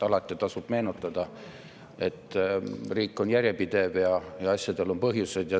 Alati tasub meeles pidada, et riik on järjepidev ja asjade sünnil on põhjused.